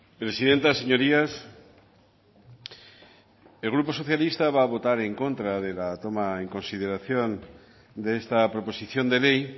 presidenta señorías el grupo socialista va a votar en contra de la toma en consideración de esta proposición de ley